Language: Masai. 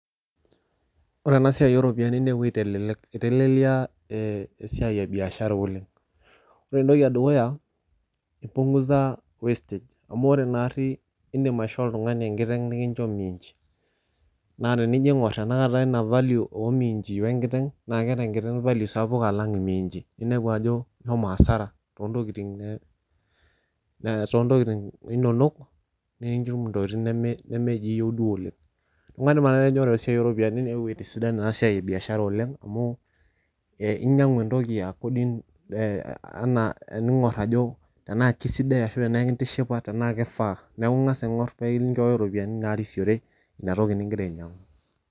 ore ena sii ooropiyiani neewuo aitelelek iteleliaa, ee esiia ebiahsra oleng. ore entoki edukuya i punguza wastage amu ore naari idim aisho oltungani enkiteng niincho miinchi. naa tenijo aing'or tenakata ina value oo minchi we nkiteng' naa keeta enkiteng' value sapuk alang' imiinchi, ninepu ajo ishomo asara too ntokitin ne too ntokitin inonok, nikinchimu ntokitin nemeji iyieu duo oleng. neku kaidim atajo ore eesiai oo ropiyiani neewuo aitisidan naa esiai ebishara oleng amu, inyiang'u entoki according anaa ening'or ajo tenaa kiisidai tenaa ekintishipa tenaa kiaa. neeku ing'as aing'or iropiyini narisiore ina toki ngira ainyiang'u.